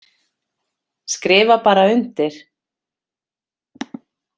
Skrifa bara undir.